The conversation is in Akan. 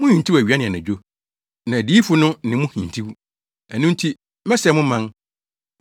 Muhintiw awia ne anadwo, na adiyifo no ne mo hintiw. Ɛno nti mɛsɛe mo man.